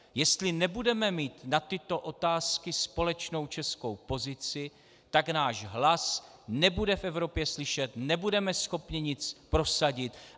Jestli nebudeme mít na tyto otázky společnou českou pozici, tak náš hlas nebude v Evropě slyšet, nebudeme schopni nic prosadit.